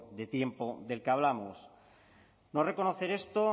de tiempo del que hablamos no reconocer esto